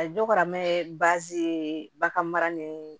A ye dɔ karamɛ baasi ye bagan mara ni